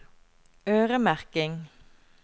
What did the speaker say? øremerking